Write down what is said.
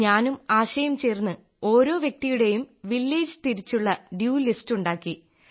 ഞാനും ആശയും ചേർന്ന് ഓരോ വ്യക്തിയുടേയും വില്ലേജ് തിരിച്ചുള്ള ഡ്യൂ ലിസ്റ്റ് ഉണ്ടാക്കി